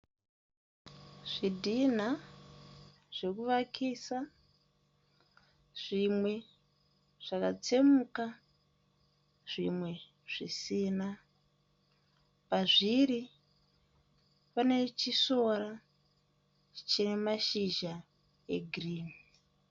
Zvidhinha zvekuvakisa. Zvimwe zvakatsemuka zvimwe zvisina. Pazviri pane chisora chine mashizha egirinhi.